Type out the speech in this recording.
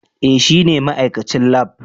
Eh shine ma'aikacin lab.